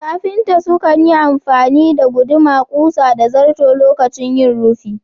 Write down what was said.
Kafinta sukan yi amfani da guduma, ƙusa da zarto lokacin yin rufi